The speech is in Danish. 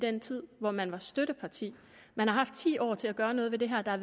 den tid hvor man var støtteparti man har haft ti år til at gøre noget ved det her der er